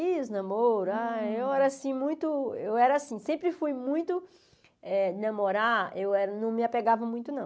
Ih, os namoros, ah eu era assim muito, eu era assim sempre fui muito, eh namorar, eu era não me apegava muito, não.